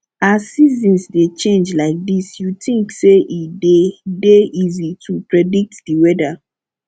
as seasons dey change like dis you think say e dey dey easy to predict di weather